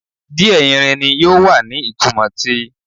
Diẹ Irini yoo wa ni itumọ ti